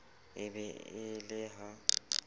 e be e le ha